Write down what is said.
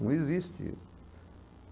Não existe isso.